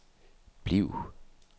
bliv